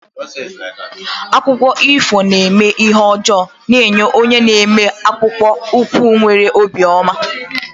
Akụkọ ifo na-eme ihe ọjọọ na-enye onye na-eme akpụkpọ ụkwụ nwere obi ọma.